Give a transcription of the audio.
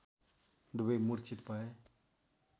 दुवै मुर्छित भए